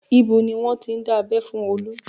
Ibo ni wọ́n ti dá abẹ́ fún Olu?